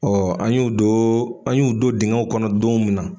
an y'o don an y'u don dingɛw kɔnɔ don min na